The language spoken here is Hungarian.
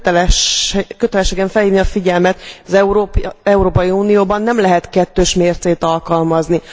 Kötelességem felhívni a figyelmet, hogy az Európai Unióban nem lehet kettős mércét alkalmazni.